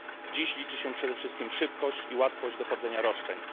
Dziś liczy się przede wszystkim szybkość i łatwość dochodzenia roszczeń.